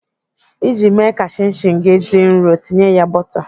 Iji mee ka chin chin gị dị nrọ, tinye ya bọta.